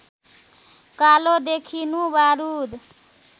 कालो देखिनु बारुद